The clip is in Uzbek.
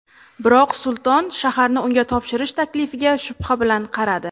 Biroq Sulton shaharni unga topshirish taklifiga shubha bilan qaradi.